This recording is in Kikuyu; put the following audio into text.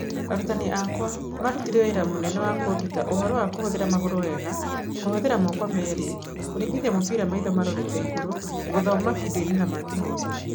Arutani akwa marutire wĩra mũnene wa kũnduta ũhoro wa kũhuthĩra magũrũ wega, kũhũthĩra moko merĩ, kũringithia mũbira maitho marorete igũrũ, gũthoma vidiũinĩ na mangĩ maingĩ